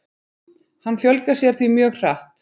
Hann fjölgar sér því mjög hratt.